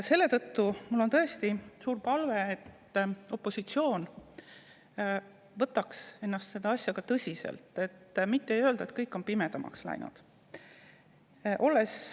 Selle tõttu mul on tõesti suur palve, et opositsioon võtaks seda asja tõsiselt, mitte ei ütleks lihtsalt, et kõik on pimedamaks läinud.